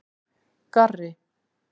Garri